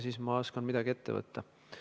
Siis ma oskan midagi ette võtta.